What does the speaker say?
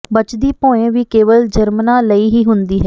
ਬਚਦੀ ਭੋਇੰ ਵੀ ਕੇਵਲ ਜਰਮਨਾਂ ਲਈ ਹੀ ਹੁੰਦੀ ਹੈ